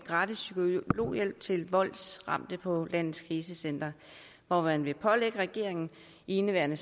gratis psykologhjælp til voldsramte på landets krisecentre hvor man vil pålægge regeringen i indeværende